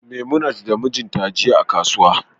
memunat da mijinta jiya a kasuwa